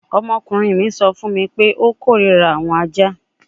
Ọmọkunrin mi sọ fun mi pe o korira awọn aja